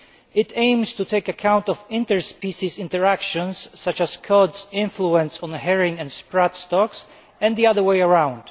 It aims to take account of interspecies interactions, such as the influence of the cod stock on herring and sprat stocks, and the other way around.